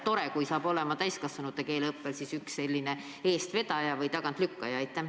Tore, kui saab olema ka täiskasvanute keeleõppe eestvedaja või tagantlükkaja.